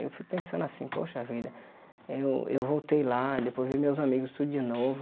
Eu fico pensando assim, poxa vida, eu eu voltei lá, depois vi meus amigos tudo de novo,